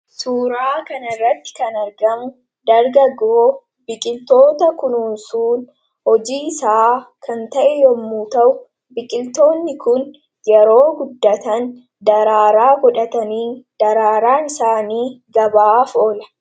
Suuraa kana irratti kan argamu, dargaggoo biqiltoota kunuunsuun hojii isaa kan ta'e yemmuu ta'u, biqiltoonni Kun yeroo guddatan daraaraa godhatanii, daraaraan isaanii gabaaf oola.